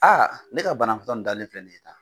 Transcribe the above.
ne ka banabaatɔ nin dalen filɛ nin ye tan,